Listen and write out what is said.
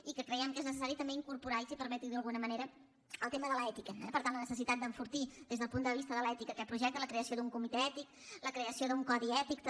i que creiem que és necessari també incorporar si em permet dirho d’alguna manera el tema de l’ètica eh per tant la necessitat d’enfortir des del punt de vista de l’ètica aquest projecte la creació d’un comitè ètic la creació d’un codi ètic també